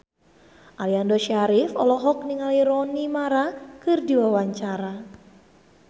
Aliando Syarif olohok ningali Rooney Mara keur diwawancara